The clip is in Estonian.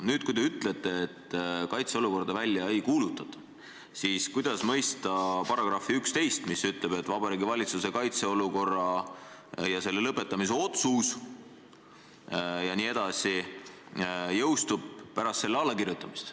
Nüüd, kui te ütlete, et kaitseolukorda välja ei kuulutata, siis kuidas mõista § 11, mis ütleb, et Vabariigi Valitsuse kaitseolukorra ja selle lõpetamise otsus jõustub pärast selle allakirjutamist.